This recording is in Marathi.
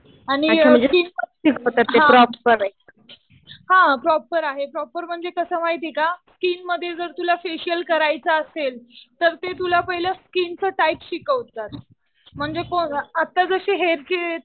आणि हा प्रॉपर आहे. प्रॉपर म्हणजे कसं माहितीये का स्किन मध्ये जर तुला फेशियल करायचं असेल तर ते तुला पहिलं स्कीनचं टाईप शिकवतात. म्हणजे आता जसे हेअरचे